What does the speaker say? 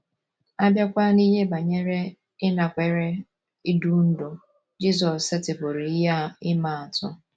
A bịakwa n’ihe banyere ịnakwere idu ndú, Jizọs setịpụrụ ihe ịma atụ.